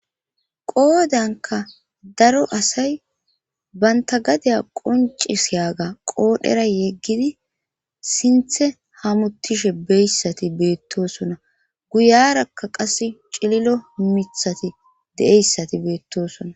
qoodanka daro asay banta gadiya qoncisiyaaga qoodhera yeggidi sinthe hamuttishe beyssati beettosona guyarakka qas cililo mithati de'eyssati beettosona